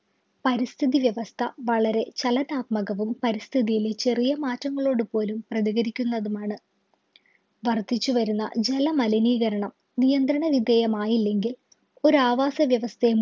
പരിസ്ഥിതി വ്യവസ്ഥ വളരെ ചലനാത്മകവും പരിസ്ഥിതിയിൽ ചെറിയ മാറ്റങ്ങളോട് പോലും പ്രതികരിക്കുന്നതുമാണ് വർധിച്ചുവരുന്ന ജലമലിനീകരണം നിയന്ത്രണ വിധേയ മായില്ലെങ്കിൽ ഒരു ആവാസ വ്യവസ്ഥയും